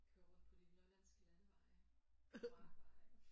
Kører rundt på de lollandske landeveje markveje